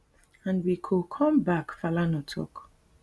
and we go come back falana tok